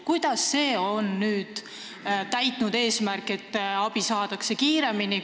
Kuidas see on nüüd täitnud eesmärki, et abi saadakse kiiremini?